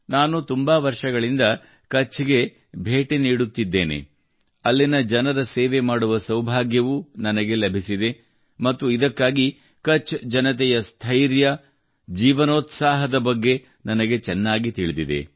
ನಾನು ತುಂಬಾ ವರ್ಷಗಳಿಂದ ಕಛ್ಗೆ ಭೇಟಿ ನೀಡುತ್ತಿದ್ದೇನೆ ಅಲ್ಲಿನ ಜನರ ಸೇವೆ ಮಾಡುವ ಸೌಭಾಗ್ಯವೂ ನನಗೆ ಲಭಿಸಿದೆ ಮತ್ತು ಇದಕ್ಕಾಗಿ ಕಛ್ ಜನತೆಯ ಸ್ಥೈರ್ಯ ಮತ್ತು ಜೀವನೋತ್ಸಾಹದ ಬಗ್ಗೆ ನನಗೆ ಚೆನ್ನಾಗಿ ತಿಳಿದಿದೆ